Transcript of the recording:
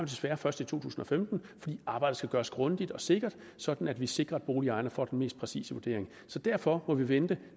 desværre først i to tusind og femten fordi arbejdet skal gøres grundigt og sikkert sådan at vi sikrer at boligejerne får den mest præcise vurdering derfor må vi vente